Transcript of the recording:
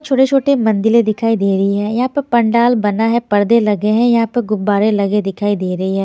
छोटे-छोटे मंदिलें दिखाई दे रही हैं यहाँ पर पंडाल बना है पर्दे लगे हैं यहाँ पर गुब्बारे लगे दिखाई दे रही है।